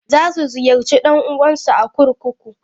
Za su ziyarci ɗan'uwansu a kurkuku.